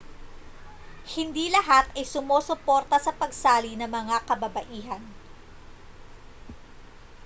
hindi lahat ay sumusuporta sa pagsali ng mga kababaihan